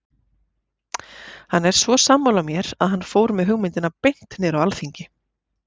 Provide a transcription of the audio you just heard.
Hann var svo sammála mér að hann fór með hugmyndina beint niður á alþingi.